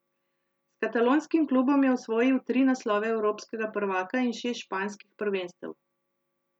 S katalonskim klubom je osvojil tri naslove evropskega prvaka in šest španskih prvenstev.